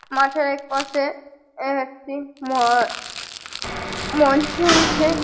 মাঠের একপাশে এ একটি ম-অ আ মঞ্চ আছে।